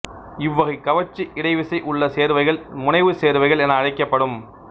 இவ்வகைக் கவர்ச்சி இடைவிசை உள்ள சேர்வைகள் முனைவுச் சேர்வைகள் என அழைக்கப்படும்